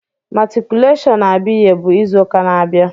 Matriculation Abiye bụ izu ụka na-abịa.